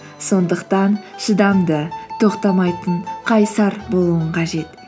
сондықтан шыдамды тоқтамайтын қайсар болуың қажет